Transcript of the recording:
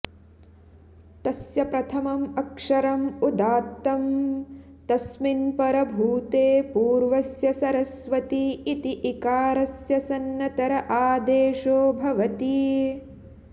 तस्य प्रथमम् अक्षरम् उदात्तं तस्मिन् परभूते पूर्वस्य सरस्वति इति इकारस्य सन्नतर आदेशो भवति